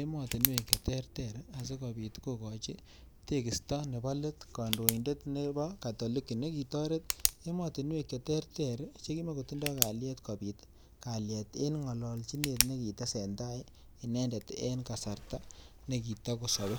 ematunwek che ter ter asi kopot kokachi kekista nepo let kandoindet nepo katoliki nekitaret ematunwek che terter che ki makotindai kalyet kopit kalyet ebg' ng'alalchinet ne kitesen tai inendet en kasarta ne kitakosape .